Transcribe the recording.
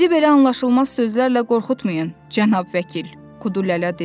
Bizi belə anlaşılmaz sözlərlə qorxutmayın, cənab vəkil, Kudu Lələ dedi.